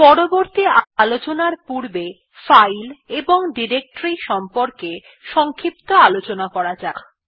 পরবর্তী আলোচনার পূর্বে ফাইল এবং ডিরেক্টরীর সম্বন্ধে সংক্ষিপ্ত আলোচনা করা যাক